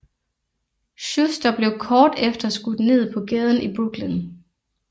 Schuster blev kort efter skudt ned på gaden i Brooklyn